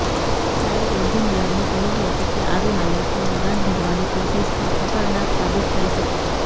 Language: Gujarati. ફ્લાઇટ એન્જિનિયરનું કહેવું હતું કે આવી હાલતમાં ઉડાન ભરવાની કોશિશ પણ ખતરનાક સાબિત થઈ શકત